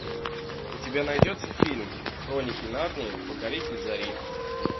у тебя найдется фильм хроники нарнии покоритель зори